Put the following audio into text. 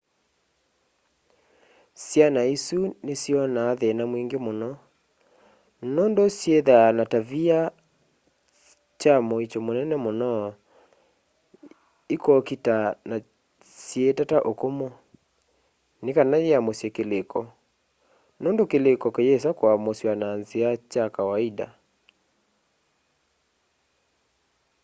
syana isu nisyonaa thina mwingi muno nundu syithaa na tavia kya muisyo munene muno ikokita na syii tata ukumu nikana yiamusye kiliko nundu kiliko kiyisa kuamusywa na nzia kya kawaida